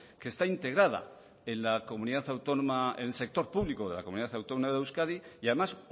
que está integrada en el sector público de la comunidad autónoma de euskadi y además